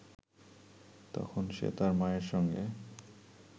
তখন সে তার মায়ের সঙ্গে